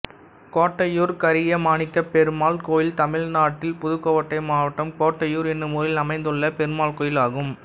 கோட்டையூர் கரியமாணிக்கப்பெருமாள் கோயில் தமிழ்நாட்டில் புதுக்கோட்டை மாவட்டம் கோட்டையூர் என்னும் ஊரில் அமைந்துள்ள பெருமாள் கோயிலாகும்